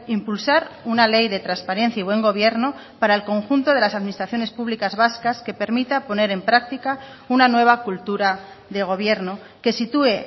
impulsar una ley de transparencia y buen gobierno para el conjunto de las administraciones públicas vascas que permita poner en práctica una nueva cultura de gobierno que sitúe